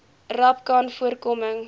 rapcanvoorkoming